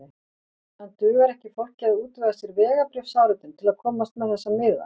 En dugar ekki fólki að útvega sér vegabréfsáritun til að komast með þessa miða?